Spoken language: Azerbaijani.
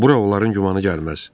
Bura onların gümanı gəlməz.